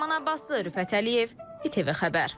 Ləman Abbasova, Rüfət Əliyev, İTV Xəbər.